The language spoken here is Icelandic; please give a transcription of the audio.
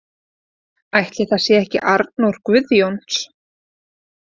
Ætli það sé ekki Arnór Guðjóns.